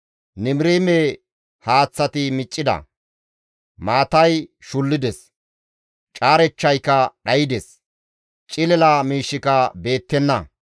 Nimiriime haaththati miccida; maatay shullides; caarechchayka dhaydes; cilila miishshika beettenna.